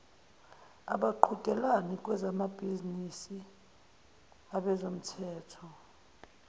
abaqhudelani kwezamabhizinisi abezomthetho